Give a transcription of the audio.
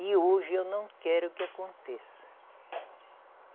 E hoje eu não quero que aconteça.